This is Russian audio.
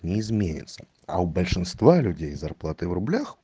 не изменятся а у большинство людей зарплаты в рублях